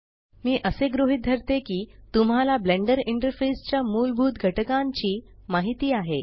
मी असे गृहीत धरते की तुम्हाला ब्लेंडर इंटरफेस च्या मूलभूत घटकांची माहिती आहे